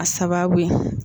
A sababu ye.